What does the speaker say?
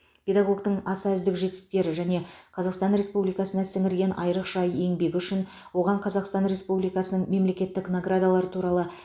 педагогтің аса үздік жетістіктері және қазақстан республикасына сіңірген айрықша еңбегі үшін оған қазақстан республикасының мемлекеттік наградалары туралы